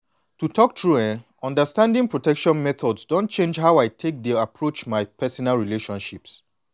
to talk true eh understanding protection methods don change how i take dey approach my personal relationships